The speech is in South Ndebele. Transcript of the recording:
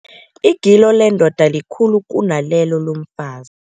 Igilo lendoda likhulu kunalelo lomfazi.